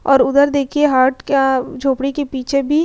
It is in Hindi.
और उधर देखिए हट का झोपड़ी के पीछे भी --